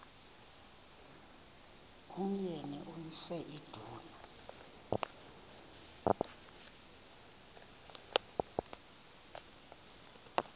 umyeni uyise iduna